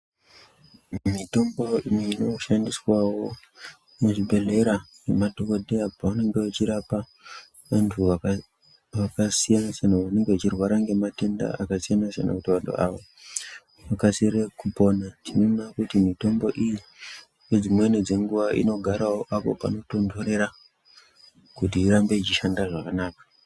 Mitombo inoshandiswawo muzvibhedhlera nemadhokodheya pavanenge vachirapa vantu va vakasiyana siyana vanenge vechirwara ngematenda akasiyana siyana kuti vantu ava vakasire kupona tinoona kuti mitombo iyi ngedzimweni dzenguwa inogarawo apo panotonhorera kuti ichishanda zvakanaka.